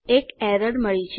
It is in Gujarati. એક એરર મળી છે